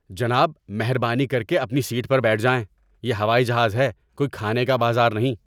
جناب، مہربانی کر کے اپنی سیٹ پر بیٹھ جائیں۔ یہ ہوائی جہاز ہے، کوئی کھانے کا بازار نہیں!